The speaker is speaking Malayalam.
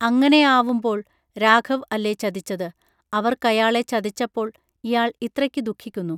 അങ്ങനെയാവുമ്പോൾ രാഘവ് അല്ലേ ചതിച്ചത് അവർക്കയാളെ ചതിച്ചപ്പോൾ ഇയാൾ ഇത്രയ്ക്കു ദുഃഖിക്കുന്നു